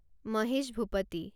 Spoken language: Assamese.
মহেশ ভূপতি